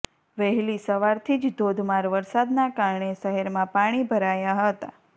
વહેલી સવારથી જ ધોધમાર વરસાદના કારણે શહેરમાં પાણી ભરાયા હતા